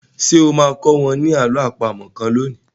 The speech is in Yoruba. Ṣé o máa kọ́ wa ní àló àpamọ̀ kan lónìí?